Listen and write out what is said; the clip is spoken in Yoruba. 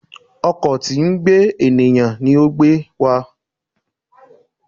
Ọkọ̀ tí ń gbé ènìyàn ní o gbe wa